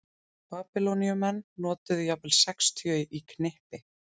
Babýloníumenn notuðu jafnvel sextíu í knippi.